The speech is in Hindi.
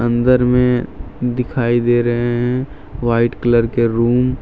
अंदर में दिखाई दे रहे हैं वाइट कलर के रूम ।